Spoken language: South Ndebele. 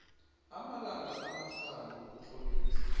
amalanga amahlanu ukutlolisa